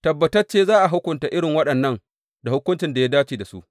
Tabbatacce za a hukunta irin waɗannan da hukuncin da ya dace da su.